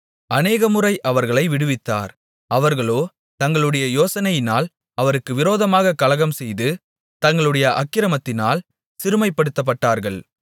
அநேகமுறை அவர்களை விடுவித்தார் அவர்களோ தங்களுடைய யோசனையினால் அவருக்கு விரோதமாகக் கலகம்செய்து தங்களுடைய அக்கிரமத்தினால் சிறுமைப்படுத்தப்பட்டார்கள்